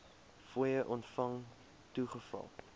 fooie ontvang toegeval